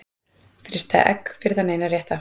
Frysta egg fyrir þann eina rétta